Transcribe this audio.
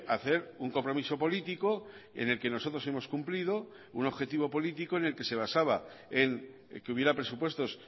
hacer un compromiso político en el que nosotros hemos cumplido un objetivo político en el que se basaba en que hubiera presupuestos